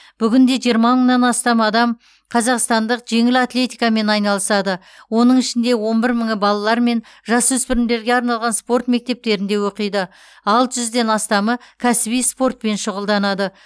бүгінде жиырма мыңнан астам қазақстандық жеңіл атлетикамен айналысады оның ішінде он бір мыңы балалар мен жасөспірімдерге арналған спорт мектептерінде оқиды алты жүзден астамы кәсіби спортпен шұғылданады